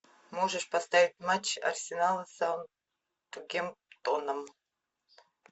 можешь поставить матч арсенала с саутгемптоном